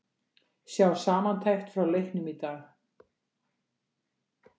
Sjá samantekt frá leiknum í dag